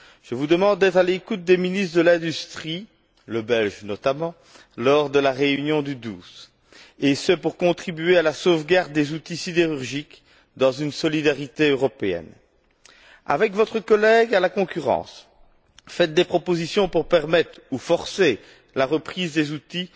Je vous demande d'être à l'écoute des ministres de l'industrie notamment le ministre belge lors de la réunion du 12, afin de contribuer à la sauvegarde des outils sidérurgiques dans une solidarité européenne. Avec votre collègue à la concurrence, faites des propositions pour permettre ou forcer la reprise des outils